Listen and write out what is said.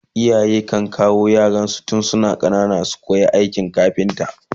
iyaye kan kawo yara tun suna ƙanana su koya aikin kafinta